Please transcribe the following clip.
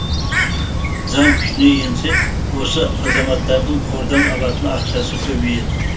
заң күшіне енсе осы азаматтардың қордан алатын ақшасы көбейеді